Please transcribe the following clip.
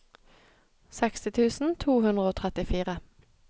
seksti tusen to hundre og trettifire